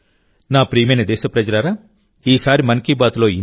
నా ప్రియమైన దేశప్రజలారాఈసారి మన్ కీ బాత్లో ఇంతే